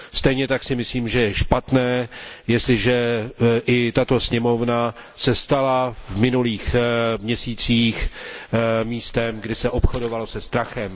Stejně tak si myslím, že je špatné, jestliže i tato sněmovna se stala v minulých měsících místem, kde se obchodovalo se strachem.